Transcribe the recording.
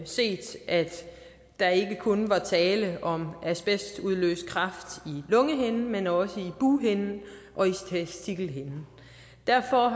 set at der ikke kun var tale om asbestudløst kræft i lungehinden men også i bughinden og i testikelhinden derfor